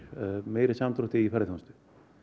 meiri samdrátt í ferðaþjónustu